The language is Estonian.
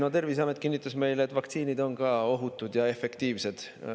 No Terviseamet kinnitas meile, et ka vaktsiinid on ohutud ja efektiivsed.